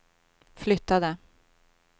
flyttade